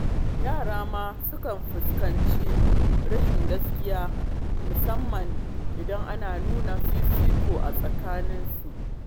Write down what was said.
Yara ma sukan fahimci rashin gaskiya, musamman idan ana nuna fifiko a tsakaninsu.